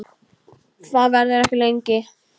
Það verður ekki lengi.